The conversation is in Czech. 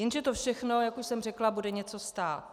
Jenže to všechno, jak už jsem řekla, bude něco stát.